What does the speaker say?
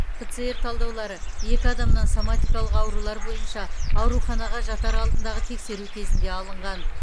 пцр талдаулары екі адамнан соматикалық аурулар бойынша ауруханаға жатар алдындағы тексеру кезінде алынған